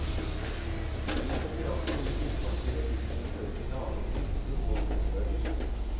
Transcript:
Fri konkurranse i bokmarkedet vil kunne føre til lavere priser på skolebøker.